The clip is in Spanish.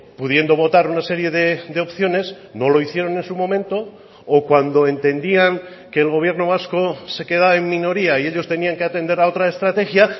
pudiendo votar unas serie de opciones no lo hicieron en su momento o cuando entendían que el gobierno vasco se queda en minoría y ellos tenían que atender a otra estrategia